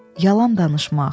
Yalan danışmaq.